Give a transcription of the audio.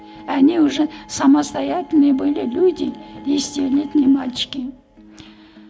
они уже самостоятельные были люди десятилетние мальчики